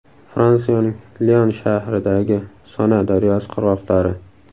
Fransiyaning Lion shahridagi Sona daryosi qirg‘oqlari.